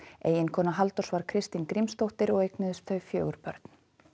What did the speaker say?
eiginkona Halldórs var Kristín Grímsdóttir og eignuðust þau fjögur börn